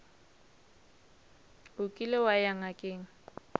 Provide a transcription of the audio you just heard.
o kile wa ya ngakeng